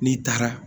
N'i taara